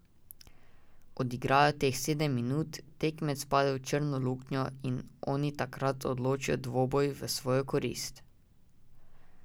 Odigrajo teh sedem minut, tekmec pade v črno luknjo in oni takrat odločijo dvoboj v svojo korist.